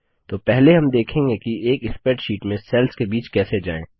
तो पहले हम देखेंगे कि एक स्प्रैडशीट में सेल्स के बीच कैसे जाएँ